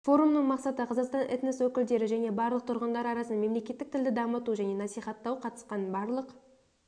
форумның мақсаты қазақстан энос өкілдері және барлық тұрғындары арасында мемлекеттік тілді дамыту және насихаттау қатысқан барлық